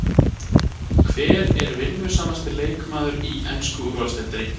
Hver er vinnusamasti leikmaðurinn í ensku úrvalsdeildinni?